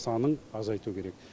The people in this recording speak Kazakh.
санын азайту керек